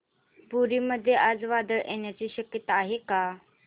पुरी मध्ये आज वादळ येण्याची शक्यता आहे का